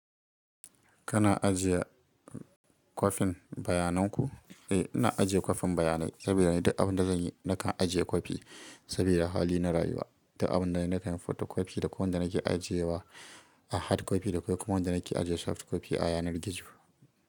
Kana ajiye kwafin bayanan ku? Eh, ina ajiye kwafin bayanai saboda ni duk abin da zan yi, nakan ajiye kwafi saboda hali na rayuwa. Duk abin da zan yi nakan yi photo copy da ko wanda nake ajiye wa a hard copy da ko kuma wanda nake ajiye soft copy a yanar gizo.